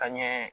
Ka ɲɛ